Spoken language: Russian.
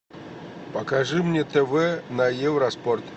покажи мне тв на евроспорт